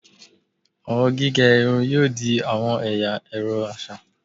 Awọn gige irun yoo di awọn ẹya ẹrọ aṣa